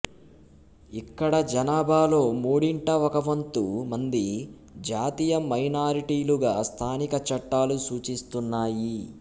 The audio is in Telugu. ఇక్కడ జనాభాలో మూడింట ఒక వంతు మంది జాతీయ మైనారిటీలుగా స్థానిక చట్టాలు సూచిస్తున్నాయి